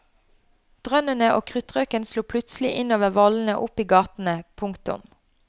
Drønnene og kruttrøken slo plutselig innover vollene og opp i gatene. punktum